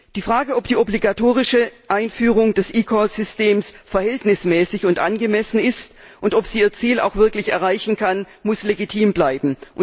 Die Frage, ob die obligatorische Einführung des eCall Systems verhältnismäßig und angemessen ist und ob sie ihr Ziel auch wirklich erreichen kann, muss legitim bleiben.